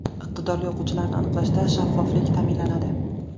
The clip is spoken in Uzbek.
Iqtidorli o‘quvchilarni aniqlashda shaffoflik ta’minlanadi.